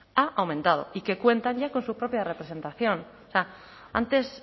ha aumentado y que cuentan ya con su propia representación antes